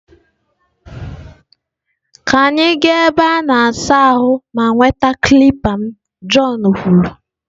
Ka anyị gaa na ebe a na-asa ahụ ma nweta kilipa m john kwuru.